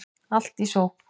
Allt í sókn